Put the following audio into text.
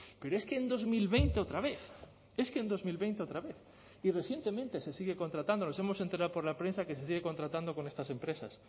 pero es que en dos mil veinte otra vez es que en dos mil veinte otra vez y recientemente se sigue contratando nos hemos enterado por la prensa que se sigue contratando con estas empresas